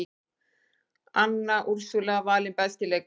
Anna Úrsúla valin besti leikmaðurinn